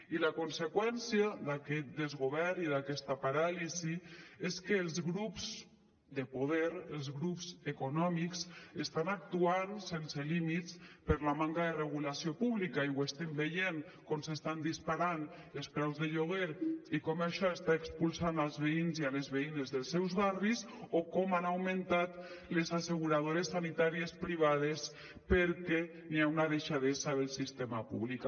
i la conseqüència d’aquest desgovern i d’aquesta paràlisi és que els grups de poder els grups econòmics estan actuant sense límits per la manca de regulació pública i estem veient com s’estan disparant els preus de lloguer i com això està expulsant els veïns i les veïnes dels seus barris o com han augmentat les asseguradores sanitàries privades perquè hi ha una deixadesa del sistema públic